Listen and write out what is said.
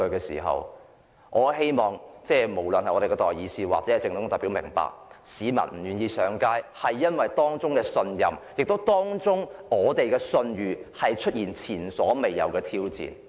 所以，我很希望代議士及政府代表都明白，市民不願意上街，原因可能是當中的信任已經出現前所未見的挑戰。